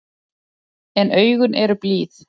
En augun eru blíð.